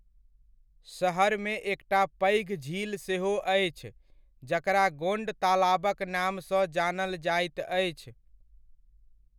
शहरमे एकटा पैघ झील सेहो अछि जकरा गोण्ड तालाबक नामसँ जानल जाइत अछि।